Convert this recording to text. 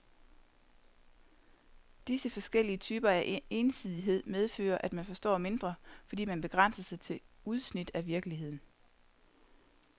Disse forskellige typer af ensidighed medfører, at man forstår mindre, fordi man begrænser sig til udsnit af virkeligheden.